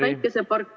Aeg, Merry!